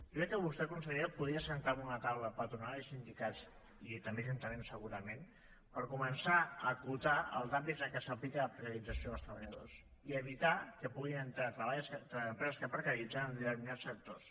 jo crec que vostè consellera podria asseure en una taula patronal i sindicats i també ajuntaments segurament per començar a acotar els àmbits en què s’aplica la precarització dels treballadors i evitar que puguin entrar les empreses que precaritzen en determinats sectors